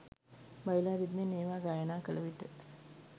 බයිලා රිද්මයෙන් ඒවා ගායනා කළ විට